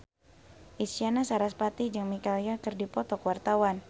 Isyana Sarasvati jeung Michelle Yeoh keur dipoto ku wartawan